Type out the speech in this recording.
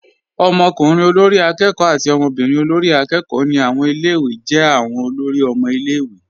Ọmọkùnrin olórí akẹ́kọ̀ọ́. àti ọmọbírin olórí akẹ́kọ̀ọ́. ni awọn ilẹ̀-iwé jẹ́ awọn olóri ọmọ ilẹ̀-iwé.